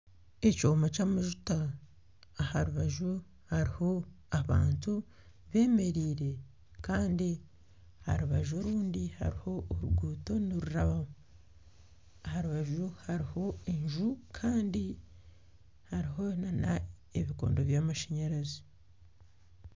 Ekyoma ky'amajuta aha rubaju hariho abantu bemereire kandi aha rubaju orundi hariho oruguuto nirurabamu aha rubaju hariho enju kandi hariho n'ebikondo by'amashanyarazi.